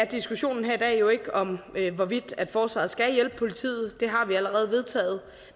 diskussionen her i dag er jo ikke om hvorvidt forsvaret skal hjælpe politiet det har vi allerede vedtaget